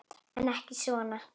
En ekki svona.